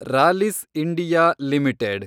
Rallis India limited